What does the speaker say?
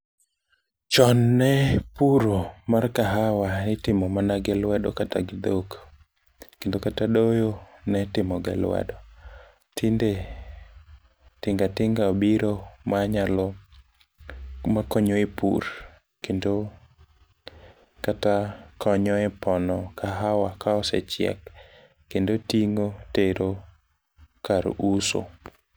chon ne puro mar kahawa mitimo mana gi luedeo kata gi dhok ,kendo kata doyo nitimo gi lwedo ,tinde tinga tinga obiro makonyo e pur kendo kata konyo e pono kahawa ka osechek kendo ting'o tero kar uso.